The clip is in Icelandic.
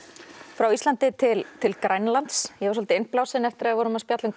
frá Íslandi til til Grænlands ég var svolítið innblásin eftir að við spjölluðum